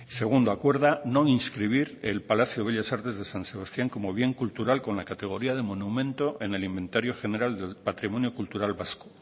segundo acuerda no inscribir el palacio bellas artes de san sebastián como bien cultural con la categoría de monumento en el inventario general del patrimonio cultural vasco